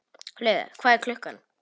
Lauga, hvað er klukkan?